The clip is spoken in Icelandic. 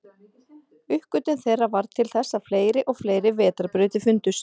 Uppgötvun þeirra varð til þess að fleiri og fleiri vetrarbrautir fundust.